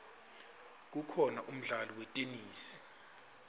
kukhona umdlalo wetenesi